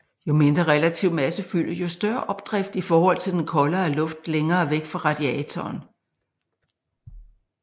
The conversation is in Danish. Jo mindre relativ massefylde jo større opdrift i forhold til den koldere luft længere væk fra radiatoren